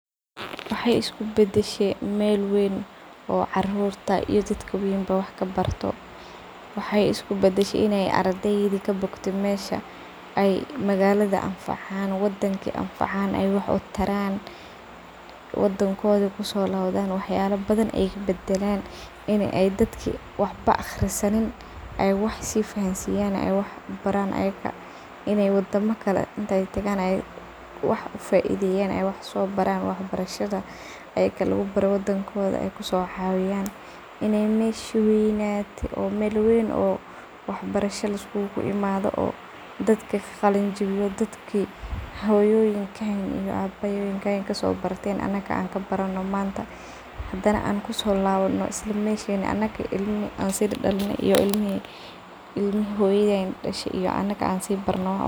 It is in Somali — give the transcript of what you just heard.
Wexey iskubadshey meel ey dad yaryar iyo ween ey wax kabartan, wexey iskubadashe meel ardeyda ey magaladoda anfacan wadanka anfacan oo inntey kusolabtan ey wax kabdanlan wadankoda, iney dadka an waxbo baranin ey wax baran intey wadamo kale tagan ey wax sobaran oo wadankoda kosocawiyan oo meeshi ey hoyoyinkoda ey kasoqalinjiwiyen an anaga kasoqalinjiwina oo ilmihi ey sii dalen an wax sii barna.